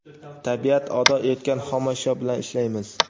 tabiat ato etgan xomashyo bilan ishlaymiz.